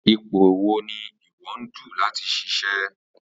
ípò wo ni ìwo ń dù láti ṣiṣẹ